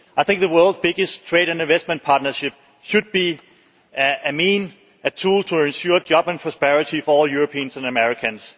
I think the world's biggest trade and investment partnership should be a means, a tool to ensure jobs and prosperity for all Europeans and Americans.